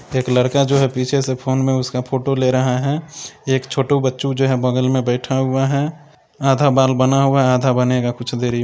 एक लड़का जो है पीछे से फोन में उसका फोटो ले रहा है एक छोटू बच्चु जो है बगल में बैठा हुआ है आधा बाल बना हुआ है आधा बनेगा कुछ देरी में।